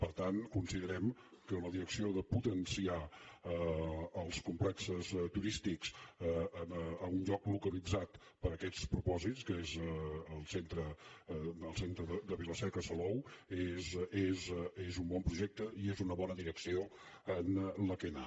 per tant considerem que la direcció de potenciar els complexos turístics a un lloc localitzat per a aquests propòsits que és el centre de vila seca i salou és un bon projecte i és una bona direcció en què anar